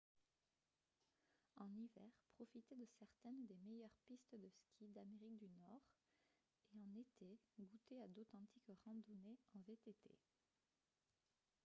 en hiver profitez de certaines des meilleurs pistes de skis d'amérique du nord et en été goûtez à d'authentiques randonnées en vtt